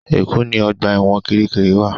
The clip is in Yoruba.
Èkó ni ọgbà ẹ̀wọ̀n Kirikiri wa